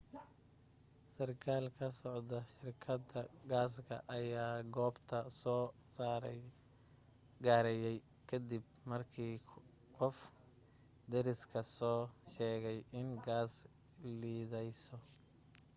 sarkaal ka socda shirkadda gaasta ayaa goobta soo gaarayay ka dib markii qof deriskaa soo sheegay in gaas liidayso